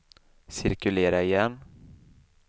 cirkulera igen